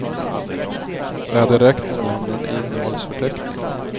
Det hade räckt med namnen i innehållsförteckningen.